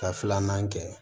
Ka filanan kɛ